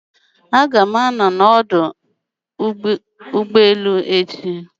Aga m anọ na ọdụ ụgbọ elu echi